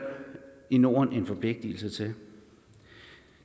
i norden en forpligtelse til